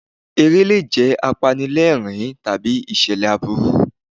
Eré lè jẹ́ apanilẹ́rìn-ín tàbí ìṣẹ̀lẹ̀ aburú.